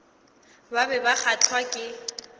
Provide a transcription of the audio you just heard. ba be ba kgahlwa ke